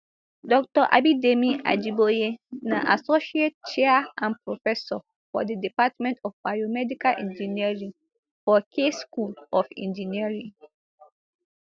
dr abidemi ajiboye na associate chair and professor for di department of biomedical engineering for case school of engineering